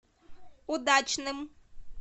удачным